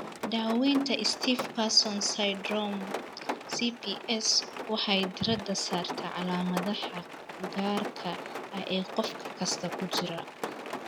Daaweynta Stiff person Syndrome (SPS) waxay diiradda saartaa calaamadaha gaarka ah ee qof kasta ku jira.